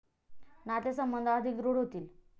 नातेसंबंध अधिक दृढ होतील.